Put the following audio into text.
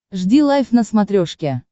жди лайв на смотрешке